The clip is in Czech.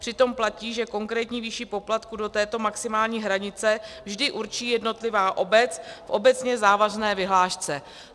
Přitom platí, že konkrétní výši poplatku do této maximální hranice vždy určí jednotlivá obec v obecně závazné vyhlášce.